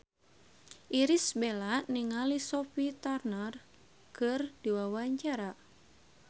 Irish Bella olohok ningali Sophie Turner keur diwawancara